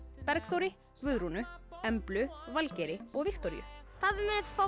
Bergþóri Guðrúnu Emblu Valgeiri og Viktoríu pabbi